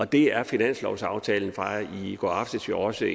det er finanslovsaftalen fra i går aftes jo også